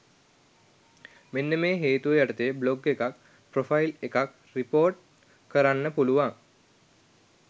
මෙන්න මේ හේතු යටතේ බ්ලොග් එකක් ප්‍රොෆයිල් එකක් රිපොර්ට් කරන්න පුළුවන්.